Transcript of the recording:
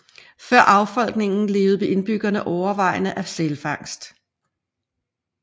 Før affolkningen levede indbyggerne overvejende af sælfangst